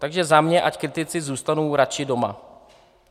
Takže za mě ať kritici zůstanou radši doma.